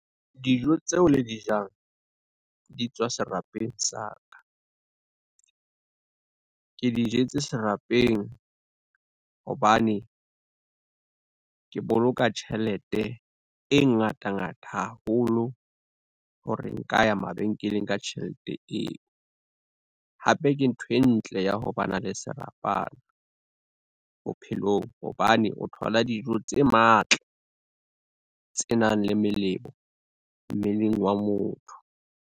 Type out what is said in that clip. Dijo tseo le di jang di tswa serapeng sa ka. Ke di jetse serapeng hobane, ke boloka tjhelete e ngata ngata haholo hore nka ya mabenkeleng ka tjhelete eo. Hape ke ntho e ntle ya ho ba na le serapana, bophelong hobane o thola dijo tse matla, tse nang le melemo mmeleng wa motho.